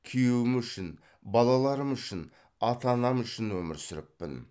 күйеуім үшін балаларым үшін ата анам үшін өмір сүріппін